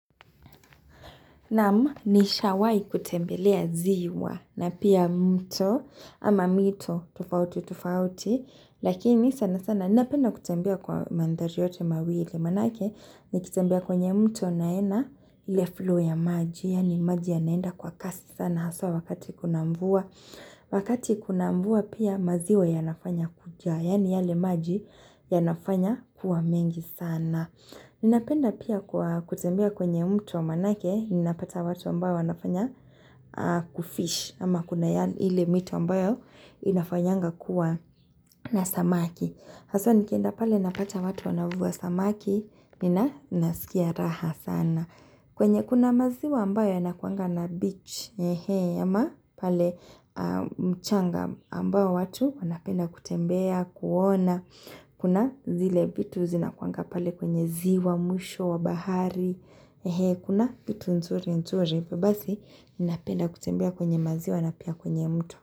Naam nishawai kutembelea ziwa na pia mto ama mito tofauti tofauti. Lakini sana sana ninapenda kutembelea kwa mandhari yote mawili. Manake nikitembea kwenye mto naenda ile flow ya maji. Yani maji ya naenda kwa kasi sana haswa wakati kuna mvua. Wakati kuna mvua pia maziwe yanafanya kujae. Yani yale maji yanafanya kuwa mengi sana. Ninapenda pia kwa kutembea kwenye mto manake, ninapata watu ambao wanafanya kufish ama kuna ile mito ambayo inafanyanga kuwa na samaki. Haswa nikienda pale napata watu wanavua samaki, ninasikia raha sana kwenye kuna maziwa ambayo yanakuanga na beach, ama pale mchanga ambayo watu wanapenda kutembea, kuona Kuna zile vitu zinakuanga pale kwenye ziwa, mwisho wa bahari Kuna vitu nzuri nzuri Basi ninapenda kutembea kwenye maziwa na pia kwenye mto.